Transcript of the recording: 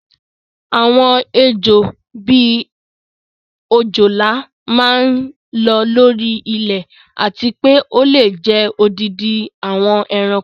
Àwọn Ejò, bíi òjòlá máa ń lọ́ lórí ilẹ̀ àti pé ó lè jẹ odindi àwọn ẹranko.